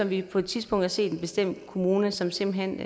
vi har på et tidspunkt set en bestemt kommune som simpelt hen